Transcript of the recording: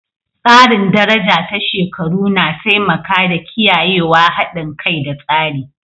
Tsarin daraja ta shekaru na taimaka da kiyayewa haɗin kai da tsari.